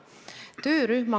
Aitäh!